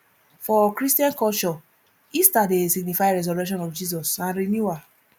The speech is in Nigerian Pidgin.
for christian culture easter dey signify resurrection of jesus and renewal